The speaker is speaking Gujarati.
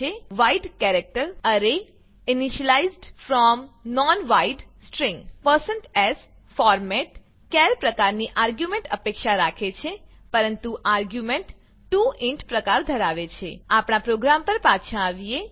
wide character array initialized from non wide string s format char પ્રકારની આર્ગ્યુંમેંટ અપેક્ષા રાખે છે પરંતુ આર્ગ્યુંમેંટ 2 ઇન્ટ પ્રકાર ધરાવે છે આપણા પ્રોગ્રામ પર પાછા આવીએ